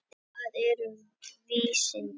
Hvað eru vísindi?